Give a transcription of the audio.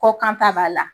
Kɔ kan ta b'a la